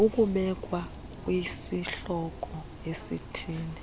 ukubekwa kwisihloko esithile